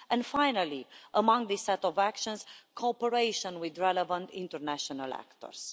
and finally, among this set of actions, cooperation with relevant international actors.